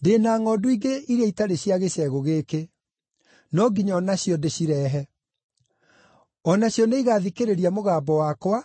Ndĩ na ngʼondu ingĩ iria itarĩ cia gĩcegũ gĩkĩ. No nginya o nacio ndĩcirehe. O nacio nĩigathikĩrĩria mũgambo wakwa,